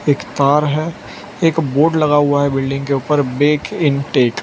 एक तार हैं एक बोर्ड लगा हुआ है बिल्डिंग के ऊपर बेक न टेक --